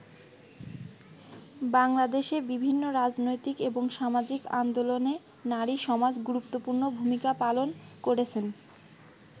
বাংলাদেশে বিভিন্ন রাজনৈতিক এবং সামাজিক আন্দোলনে নারী সমাজ গুরুত্বপূর্ণ ভূমিকা পালন করেছেন।